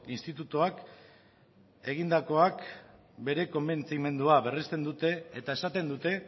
institutuak egindakoak bere konbentzimendua berresten dute eta esaten dute